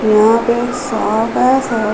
यहाँ पे एक शॉप है। शॉप --